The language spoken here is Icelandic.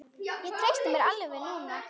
Ég treysti mér alveg núna!